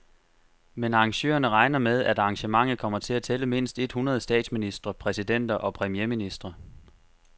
Men arrangørerne regner med, at arrangementet kommer til at tælle mindst et hundrede statsministre, præsidenter og premierministre.